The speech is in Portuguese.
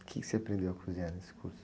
O quê que você aprendeu a cozinhar nesse curso?